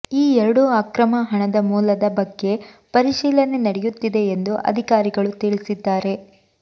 ಈ ಎರಡೂ ಅಕ್ರಮ ಹಣದ ಮೂಲದ ಬಗ್ಗೆ ಪರಿಶೀಲನೆ ನಡೆಯುತ್ತಿದೆ ಎಂದು ಅಧಿಕಾರಿಗಳು ತಿಳಿಸಿದ್ದಾರೆ